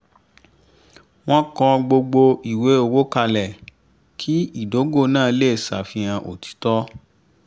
wọ́n kọ gbogbo ìwé owó kalẹ̀ kí ìdógò náà lè ṣàfihàn òtítọ́